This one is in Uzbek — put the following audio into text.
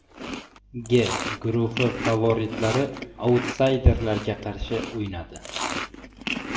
G guruhi favoritlari autsayderlarga qarshi o‘ynadi.